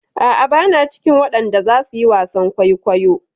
A'a, bana cikin waɗanda zasu yi wasan kwaikwayo.